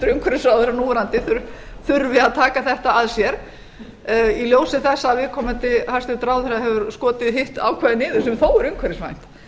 hæstvirtur núverandi umhverfisráðherra þurfi að taka þetta að sér í ljósi þess að viðkomandi hæstvirtur ráðherra hefur skotið hitt ákvæðið niður sem þó er umhverfisvænt